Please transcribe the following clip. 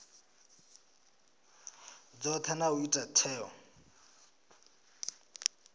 dzothe na u ita tsheo